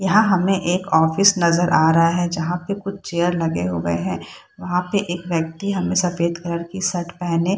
यहाँ हमें एक ऑफिस नजर आ रहा हैं जहाँ पे कुछ चेयर लगे हुए हैं। वहाँ पे एक व्यक्ती हमें सफ़ेद कलर की शर्ट पहने--